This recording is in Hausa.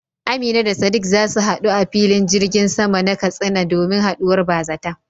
Amina da Sadiq za su hadu a filin jirgin sama na Katsina domin haduwar bazata.